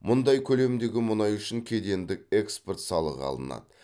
мұндай көлемдегі мұнай үшін кедендік экспорт салығы алынады